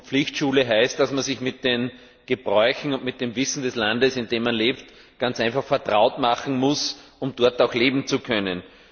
Pflichtschule heißt, dass man sich mit den Gebräuchen und dem Wissen des Landes, in dem man lebt, ganz einfach vertraut machen muss, um dort auch leben zu können.